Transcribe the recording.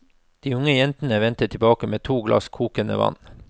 De unge jentene vender tilbake med to glass kokende vann.